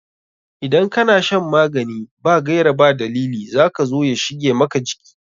Idan ka na shan magani ba gaira ba dalili za ka zo ya shige maka jiki.